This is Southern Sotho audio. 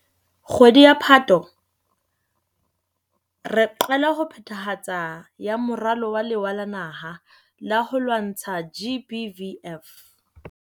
Kgwedi ya Phato, re qala ka phethahatso ya Moralo wa Lewa la Naha la ho lwantsha GBVF.